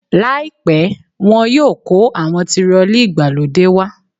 Láìpẹ́ wọ́n yóò kó àwọn tirọlí ìgbàlódé wá.